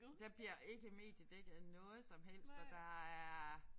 Der bliver ikke mediedækket noget som helst og der er